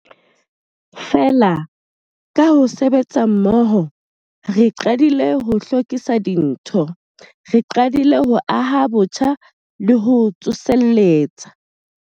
Feela, ka ho sebetsa mmoho, re qadile ho lokisa dintho. Re qadile ho aha botjha le ho tsoseletsa.